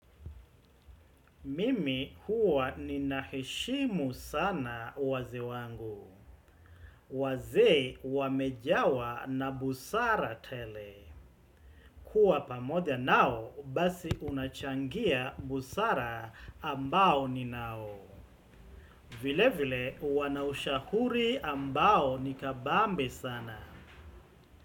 Mimi huwa nina heshimu sana wazee wangu. Wazee wamejawa na busara tele. Kua pamoja nao basi kunachangia busara ambao ninayo. Vile vile wana ushahuri ambao ni kabambe sana.